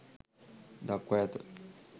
දක්වා ඇත.